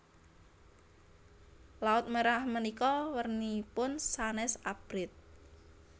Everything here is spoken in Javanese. Laut Merah menika werninipun sanes abrit